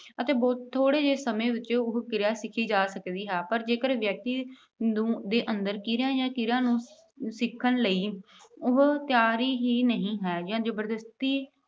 ਅਤੇ ਬਹੁਤ ਥੋੜ੍ਹੇ ਜਿਹੇ ਸਮੇਂ ਵਿੱਚ ਉਹ ਕਿਰਿਆ ਸਿੱਖੀ ਜਾ ਸਕਦੀ ਹੈ। ਪਰ ਜੇਕਰ ਵਿਅਕਤੀ ਅਹ ਨੂੰ, ਦੇ ਅੰਦਰ ਕਿਰਿਆ ਜਾਂ ਕਿਰਿਆ ਨੂੰ ਸਿੱਖਣ ਲਈ ਉਹ ਅਹ ਤਿਆਰੀ ਹੀ ਨਹੀਂ ਹੈ ਜਾਂ ਜ਼ਬਰਦਸਤੀ